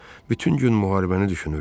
Bütün gün müharibəni düşünürdüm.